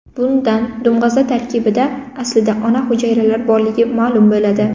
Bundan dumg‘aza tarkibida aslida ona hujayralari borligi ma’lum bo‘ladi.